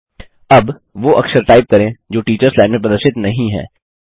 अब वो अक्षर टाइप करें जो टीचर्स लाइन में प्रदर्शित नहीं हैं